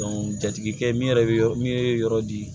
jatigikɛ min yɛrɛ be yɔrɔ min ye yɔrɔ di